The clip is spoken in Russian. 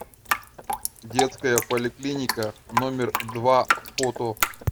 детская поликлиника номер два фото